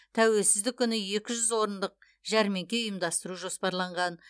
тәуелсіздік күні екі жүз орындық жәрмеңке ұйымдастыру жоспарланған